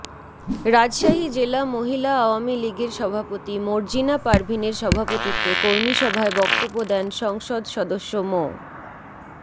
রাজশাহী জেলা মহিলা আওয়ামী লীগের সভাপতি মর্জিনা পারভীনের সভাপতিত্বে কর্মীসভায় বক্তব্য দেন সংসদ সদস্য মো